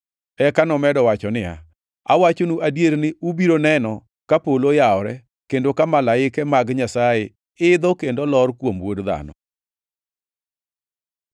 Eka nomedo wacho niya, “Awachonu adier ni ubiro neno ka polo oyawore, kendo ka malaike mag Nyasaye idho kendo lor kuom Wuod Dhano.”